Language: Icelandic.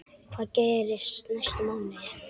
Hvað gerist næstu mánuði?